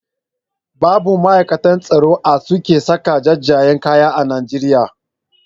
Babu ma'aikatan tsaron a suke saka jajayen kaya a Najeriya.